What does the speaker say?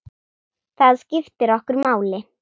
Það skiptir okkur máli.